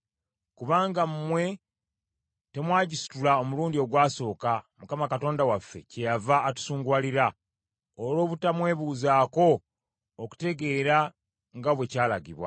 Kubanga mmwe temwagisitula omulundi ogwasooka Mukama Katonda waffe kyeyava atusunguwalira, olw’obutamwebuuzaako okutegeera nga bwe kyalagibwa.”